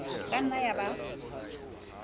e ka nnang ya ba